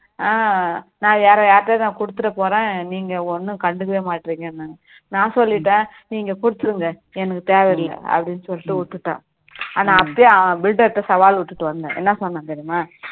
ஆஹ் நான் வேற யார்கிட்டயாவது நான் கொடுத்திட போறேன் நீங்க ஒன்னும் கண்டுக்கவே மாட்றீங்கனாறு நான் சொல்லிட்டேன் நீங்க கொடுத்துடுங்க எனக்கு தேவையில்ல அப்படின்னு சொல்லிட்டு விட்டுட்டேன் ஆனா அப்பயும் builder ட சாவால் விட்டுட்டு வந்தேன் என்ன சொன்னேன் தெரியுமா